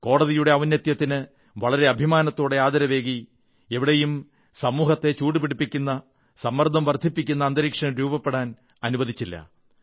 കോടതിയുടെ ഔന്നത്യത്തിന് വളരെ അഭിമാനത്തോടെ ആദരവേകി എവിടെയും സമൂഹത്തെ ചൂടുപിടിപ്പിക്കുന്ന സമ്മർദ്ദം വർധിപ്പിക്കുന്ന അന്തരീക്ഷം രൂപപ്പെടാൻ അനുവദിച്ചില്ല